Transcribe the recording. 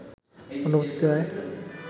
অনুমতি দেয়ায়